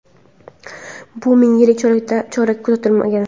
bu ming yillik chorakda kuzatilmagan.